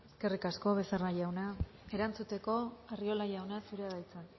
eskerrik asko becerra jauna erantzuteko arriola jauna zurea da hitza